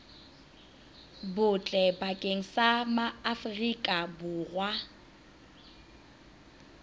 botle bakeng sa maaforika borwa